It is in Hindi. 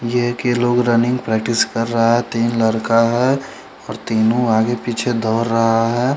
ये है की लोग रनिंग प्रेक्टिस कर रहा है तीन लड़का है और तीनो आगे पीछे दोड़ रहा है।